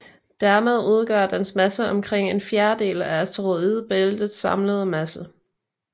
Dermed udgør dens masse omkring en fjerdedel af asteroidebæltets samlede masse